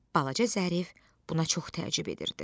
Balaca Zərif buna çox təəccüb edirdi.